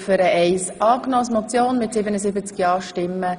Sie haben Ziffer 1 angenommen.